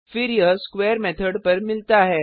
फिर यह square method पर मिलता है